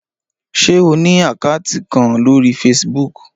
Ṣé o ní àkátì kan lórí Facebook?